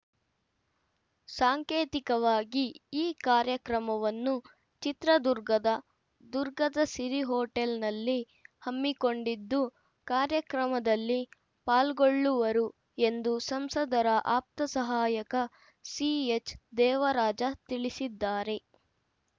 ಸಾಂಕೇತಿಕವಾಗಿ ಈ ಕಾರ್ಯಕ್ರಮವನ್ನು ಚಿತ್ರದುರ್ಗದ ದುರ್ಗದ ಸಿರಿ ಹೋಟೆಲ್‌ನಲ್ಲಿ ಹಮ್ಮಿಕೊಂಡಿದ್ದು ಕಾರ್ಯಕ್ರಮದಲ್ಲಿ ಪಾಲ್ಗೊಳ್ಳುವರು ಎಂದು ಸಂಸದರ ಆಪ್ತ ಸಹಾಯಕ ಸಿಎಚ್‌ದೇವರಾಜ ತಿಳಿಸಿದ್ದಾರೆ